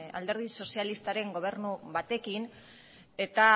alderdi sozialistaren gobernu batekin eta